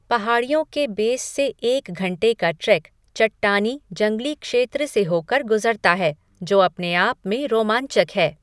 पहाड़ियों के बेस से एक घंटे का ट्रेक चट्टानी, जंगली क्षेत्र से होकर गुजरता है, जो अपने आप में रोमांचक है।